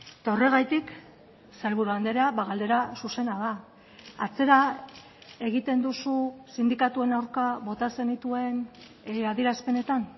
eta horregatik sailburu andrea galdera zuzena da atzera egiten duzu sindikatuen aurka bota zenituen adierazpenetan